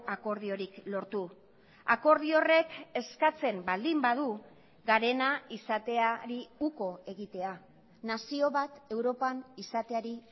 akordiorik lortu akordio horrek eskatzen baldin badu garena izateari uko egitea nazio bat europan izateari